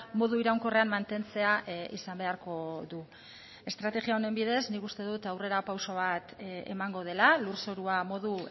modu iraunkorrean mantentzea izan beharko du estrategia honen bidez nik uste dut aurrera pauso bat emango dela lurzorua modu